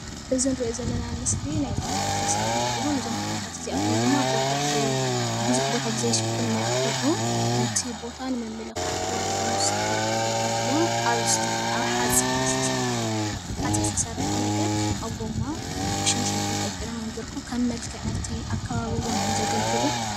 እዚ ንሪኦ ዘለና ምስሊ ናይ ተክልታት ምስሊ እንትከውን ፣ እዞም ተክልታት እዚአቶም ድማ ብዙሕ ቦታ ብዘይሽፍን መልክዑ ነቲ ቦታ ንምምልካዕ ተባሂሎም ዝተተከሉ ተክልታት እዮም፡፡ አብ ሓፂን ዝተሰርሐ ነገር ፤ አብ ጎማ ብሸንሸል ተንጠልጢሎም እዮም ዝርከቡ፤ ከም መልክዕ እቲ አከባቢ እውነይ እዮም ዘገልግሉ፡፡